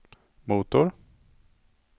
motor